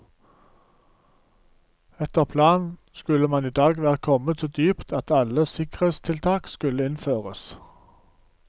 Etter planen skulle man i dag være kommet så dypt at alle sikkerhetstiltak skulle innføres.